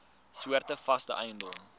soorte vaste eiendom